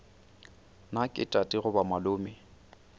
na ke tate goba malome